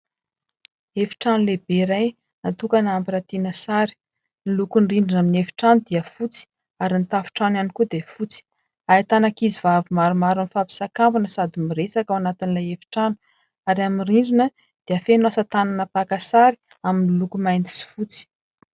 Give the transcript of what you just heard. Efitrano lehibe iray natokana ampirantiana sary, ny lokony rindrina amin'ny efitrano dia fotsy ary ny tafontrano ihany koa dia fotsy. Ahitana ankizivavy maromaro mifampisakambina sady miresaka ao anatin'ilay efitrano ary amin'ny rindrina dia feno asa tànana mpaka sary miloko mainty sy fotsy.